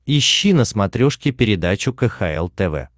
ищи на смотрешке передачу кхл тв